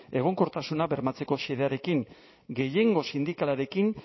egonkortasuna bermatzeko xedearekin gehiengo sindikalarekin